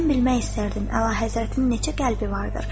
“Mən bilmək istərdim Əlahəzrətin neçə qəlbi vardır?”